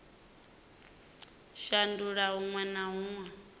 shandula huṅwe na huṅwe kha